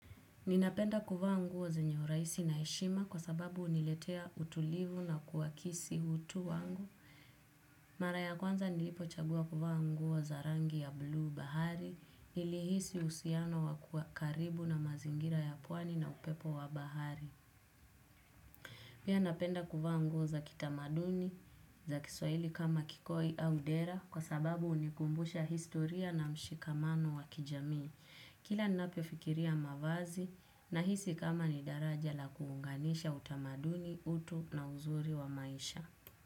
Ninapenda kuvaa nguo zenye urahisi na heshima kwa sababu huniletea utulivu na kuakisi utu wangu. Mara ya kwanza nilipo chagua kuvaa nguo za rangi ya buluu bahari nilihisi uhusiano wa kuwa karibu na mazingira ya pwani na upepo wa bahari. Pia napenda kuvaa nguo za kitamaduni za kiswahili kama kikoi au dera kwa sababu hunikumbusha historia na mshikamano wa kijami. Kila ninapofikiria mavazi na hisi kama ni daraja la kuunganisha utamaduni utu na uzuri wa maisha.